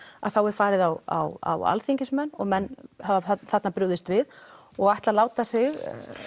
að þá er farið á á á alþingismenn og menn hafa þarna brugðist við og ætla að láta sig